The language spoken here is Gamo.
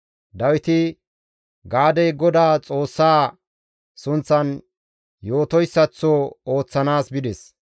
Dawiti Gaadey Godaa Xoossaa sunththan yootoyssaththo ooththanaas bides.